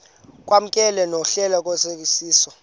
kwamkelwe nohlelo lwesicwangciso